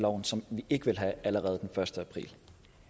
og som vi ikke ville have allerede den første april